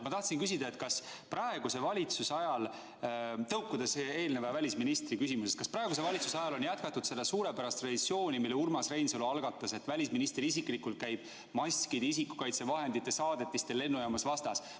Ma tahtsin küsida, kas praeguse valitsuse ajal, tõukudes eelmise välisministri küsimusest, on jätkatud seda suurepärast traditsiooni, mille Urmas Reinsalu algatas, et välisminister isiklikult käib maskidel ja muudel isikukaitsevahenditel lennujaamas vastas.